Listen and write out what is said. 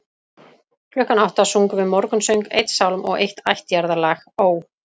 Klukkan átta sungum við morgunsöng, einn sálm og eitt ættjarðarlag: Ó